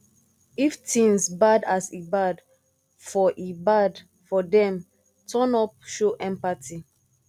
if things bad as e bad for e bad for them turn up show sympathy